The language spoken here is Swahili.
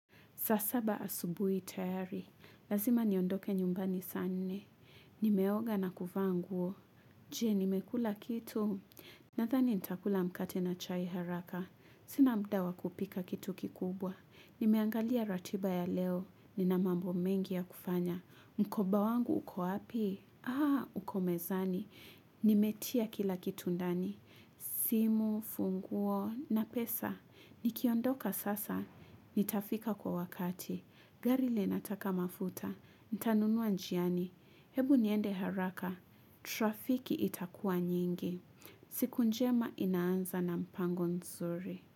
Saa saba asubui tayari. Lazima niondoke nyumbani saa nne. Nimeoga na kuvaa nguo. Je, nimekula kitu? Nathani nitakula mkate na chai haraka. Sina muda wa kupika kitu kikubwa. Nimeangalia ratiba ya leo. Nina mambo mengi ya kufanya. Mkoba wangu uko api? Aa, uko mezani. Nimetia kila kitu ndani. Simu, funguo, na pesa. Nikiondoka sasa. Nitafika kwa wakati, gari linataka mafuta, nitanunua njiani, hebu niende haraka, trafiki itakua nyingi, siku njema inaanza na mpango nzuri.